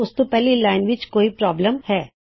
ਉਸ ਤੋਂ ਪਹਿਲੀ ਲਾਇਨ ਵਿੱਚ ਕੋਈ ਦਿਕੱਤ ਹੈ